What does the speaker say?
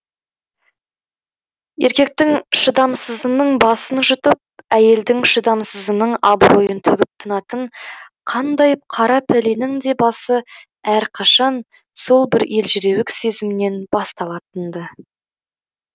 еркектің шыдамсызының басын жұтып әйелдің шыдамсызының абыройын төгіп тынатын қандай қара пәленің де басы әрқашан сол бір елжіреуік сезімнен басталатын ды